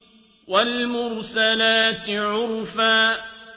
وَالْمُرْسَلَاتِ عُرْفًا